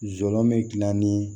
Zɔme gilan ni